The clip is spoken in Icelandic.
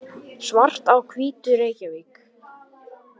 Svart á Hvítu, Reykjavík.